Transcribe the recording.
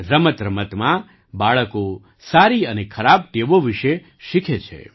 રમતરમતમાં બાળકો સારી અને ખરાબ ટેવો વિશે શીખે છે